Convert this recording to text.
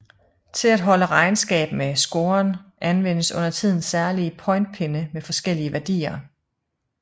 Til at holde regnskab med scoren anvendes undertiden særlige pointpinde med forskellige værdier